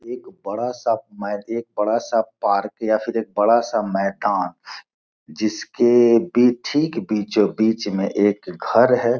एक बड़ा सा मैद एक बड़ा सा पार्क यह फिर एक बड़ा सा मैदान जिसके ये ठीक बीचों-बीच में एक घर --